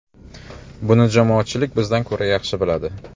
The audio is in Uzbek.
Buni jamoatchilik bizdan ko‘ra yaxshi biladi.